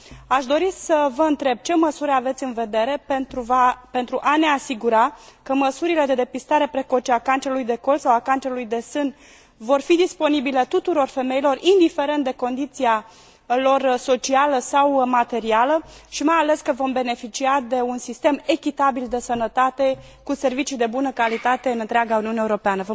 Aș dori să vă întreb ce măsuri aveți în vedere pentru a ne asigura că măsurile de depistare precoce a cancerului de col sau a cancerului de sân vor fi disponibile tuturor femeilor, indiferent de condiția lor socială sau materială și, mai ales, că vom beneficia de un sistem echitabil de sănătate, cu servicii de bună calitate în întreaga Uniune Europeană.